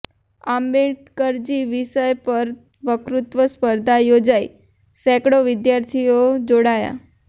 આંબેડકરજી વિષય પર વકતૃત્વ સ્પર્ધા યોજાઇઃ સેંકડો વિદ્યાર્થીઓ જોડાયા